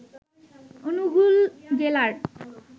অনুগুল জেলার